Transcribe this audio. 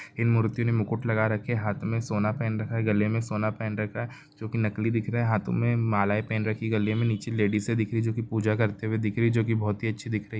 इन मूर्ति ने मुकुट लगा रखे हाथ में सोना पहन रखा है गले में सोना पहन रखा है जो की नकली दिख रहा है हाथों में मालाएं पहन रखी है गले में नीचे लेडिसे दिख रही हैं जो कि पूजा करते दिख रही हैं जो कि बोहत ही अच्छी दिख रही हैं।